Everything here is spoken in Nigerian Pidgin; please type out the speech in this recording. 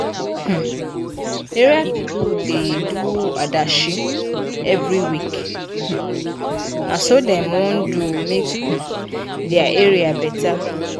um area pipu da do adashi every week um na so dem wan do make um dia area better